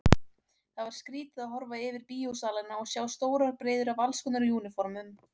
Það var skrýtið að horfa yfir bíósalina og sjá stórar breiður af allskonar úniformum.